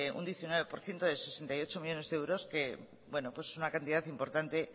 un diecinueve por ciento de sesenta y ocho millónes de euros que es una cantidad importante